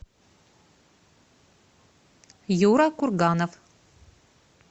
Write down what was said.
юра курганов